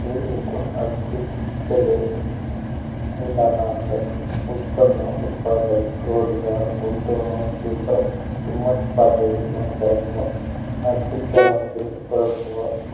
ते एकूण आर्थिक कले उदाहरणार्थ उत्पन्न उत्पादक रोजगार गुंतवणूक किंपत किंमत पाहते यांच्या आर्थिक चालांकित परस्पर